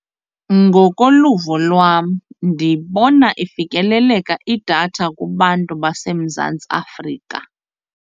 Ngokoluvo lwam ndibona ifikeleleka idatha kubantu baseMzantsi Afrika.